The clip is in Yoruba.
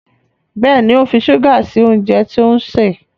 Béèni o ń fí ṣuga sí oúnjẹ tí òun ṣe.